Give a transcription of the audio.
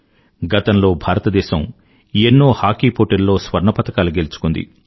గతంలో భారతదేశం ఎన్నో హాకీ పోటీల్లో స్వర్ణ పతకాలు గెలుచుకుంది